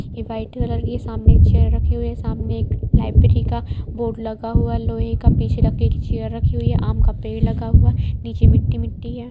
ये white colour की सामने चेयर रखी हुई है सामने एक लाइब्रेरी का बोर्ड लगा हुआ है लोहे का पीछे लकड़ी का चेयर रखी हुई है आम का पेड़ लगा हुआ है नीचे मिट्टी-मिट्टी है।